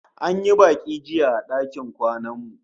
An yi baki jiya a dakin kwanan mu